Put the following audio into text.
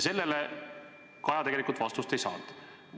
Sellele Kaja tegelikult vastust ei saanud.